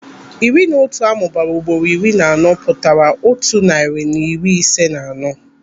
Iri na otu amụbara ugboro iri na anọ pụtara otu narị na iri ise na anọ.